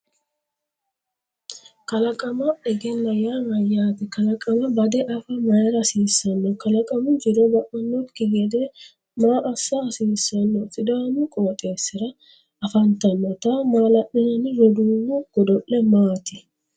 Kalaqama egenna yaa mayyaate? Kalaqama bade afa mayra hasiissanno? Kalaqamu jiro ba’annokki gede maa assa hasiissanno? Sidaamu qooxeessira afantannota maala’linanni rooduwu goodole maati?